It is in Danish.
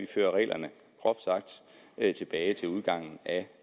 fører reglerne tilbage til udgangen af